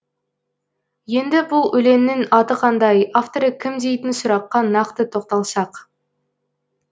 енді бұл өлеңнің аты қандай авторы кім дейтін сұраққа нақты тоқталсақ